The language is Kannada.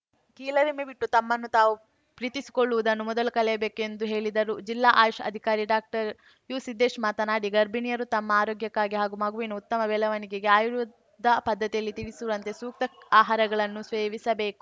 ಕೀಳರಿಮೆ ಬಿಟ್ಟು ತಮ್ಮನ್ನು ತಾವು ಪ್ರೀತಿಸಿಕೊಳ್ಳುವುದನ್ನು ಮೊದಲು ಕಲಿಯಬೇಕು ಎಂದು ಹೇಳಿದರು ಜಿಲ್ಲಾ ಆಯುಷ್‌ ಅಧಿಕಾರಿ ಡಾಕ್ಟರ್ ಯುಸಿದ್ದೇಶ್‌ ಮಾತನಾಡಿ ಗರ್ಭಿಣಿಯರು ತಮ್ಮ ಆರೋಗ್ಯಕ್ಕಾಗಿ ಹಾಗೂ ಮಗುವಿನ ಉತ್ತಮ ಬೆಳವಣಿಗೆಗೆ ಆಯುರ್ವೇದ ಪದ್ಧತಿಯಲ್ಲಿ ತಿಳಿಸಿರುವಂತೆ ಸೂಕ್ತ ಆಹಾರಗಳನ್ನು ಸೇವಿಸಬೇಕು